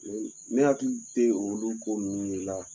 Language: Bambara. Ne hakili tɛ olu ko ninnu de la